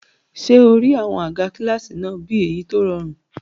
Ṣé o rí àwọn àga kílásì náà bí èyí tó rọrùn?